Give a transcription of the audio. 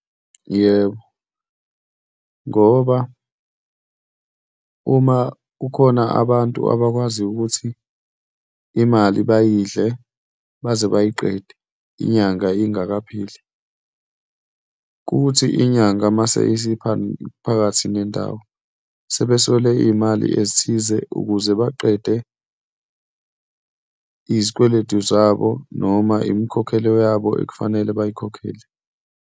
Yebo, ngoba uma kukhona abantu abakwaziyo ukuthi imali bayidle baze bayiqede inyanga ingakapheli, kuthi inyanga uma isiphakathi nendawo, sebeselwe iy'mali ezithize ukuze baqede izikweletu zabo noma imkhokhelo yabo ekufanele bayikhokhele.